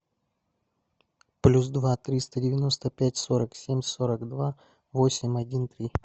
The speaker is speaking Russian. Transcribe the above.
плюс два триста девяносто пять сорок семь сорок два восемь один три